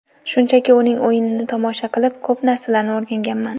Shunchaki uning o‘yinini tomosha qilib, ko‘p narsalarni o‘rganganman.